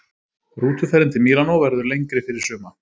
Rútuferðin til Mílanó verður lengri fyrir suma.